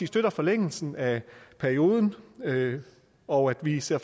støtter forlængelsen af perioden og vi ser